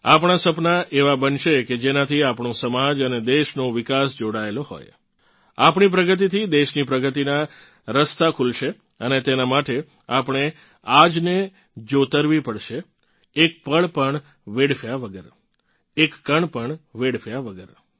આપણાં સપનાં એવાં બનશે કે જેનાથી આપણો સમાજ અને દેશનો વિકાસ જોડાયેલ હોય આપણી પ્રગતિથી દેશની પ્રગતિનાં રસ્તા ખુલશે અને તેનાં માટે આપણે આજને જોતરવી પડશે એક પળ પણ વેડફ્યા વગર એક કણ વેડફ્યા વગર